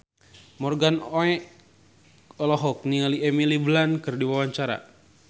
Morgan Oey olohok ningali Emily Blunt keur diwawancara